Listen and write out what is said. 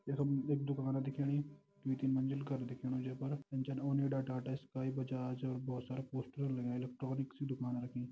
यखम एक दुकाना दिखेणी दुई तीन मंजिल घर दिखेणु जै पर जन टाटा स्काई बजाज और बहोत सारा पोस्टर लगायां इलेक्ट्रॉनिक्स की दुकान रखीं।